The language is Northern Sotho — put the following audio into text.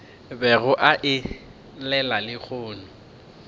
bego a e llela lehono